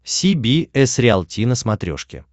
си би эс риалти на смотрешке